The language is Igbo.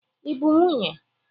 Ị bụ nwunye?